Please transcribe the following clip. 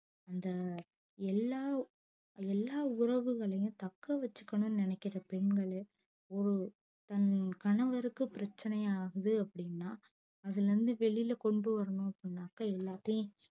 அந்த எல்லா எல்லா உறவுகளையும் தக்க வச்சிக்கணும்னு நெனக்கிற பெண்களே ஒரு தன் கணவருக்கு பிரச்சனையா ஆகுது அப்டின்னா அதுலருந்து வெளில கொண்டு வரணும் அப்டினாக்க எல்லாத்தையும்